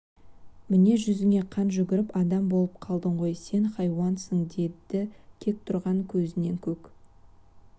міне жүзіңе қан жүгіріп адам болып қалдың ғой сен хайуансың деді кек тұтанған көзінен көк